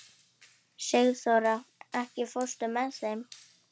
Sigþóra, ekki fórstu með þeim?